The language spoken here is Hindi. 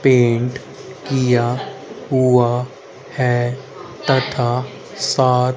पेंट किया हुआ है तथा सात--